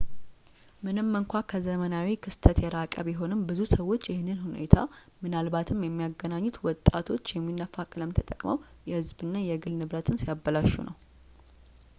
ምንም እንኳ ከዘመናዊ ክስተት የራቀ ቢሆንም ብዙ ሰዎች ይህንን ሁኔታ ምናልባትም የሚያገናኙት ወጣቶች የሚነፋ ቀለም ተጠቅመው የህዝብ እና የግል ንብረትን ሲያበላሹ ነው